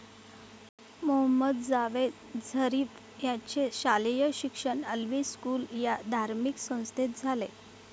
Mohammed Javad Zarif याचे शालेय शिक्षण अल्वी स्कूल या धार्मिक संस्थेत झाले.